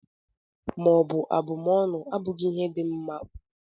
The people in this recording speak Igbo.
Ikwu maọbụ abụmọnụ abụghị ihe dị mma ma ọlị